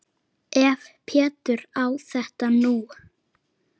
Ef Pétur á þetta nú.